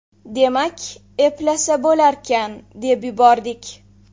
Demak, eplasa bo‘larkan, deb yubordik.